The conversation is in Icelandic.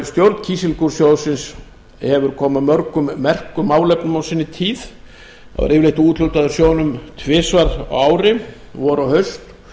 stjórn kísilgúrsjóðsins hefur komið að mörgum merkum málefnum á sinni tíð það var yfirleitt úthlutað úr sjóðnum tvisvar á ári vor og haust